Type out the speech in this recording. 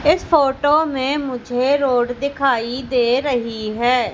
इस फोटो में मुझे रोड दिखाई दे रही है।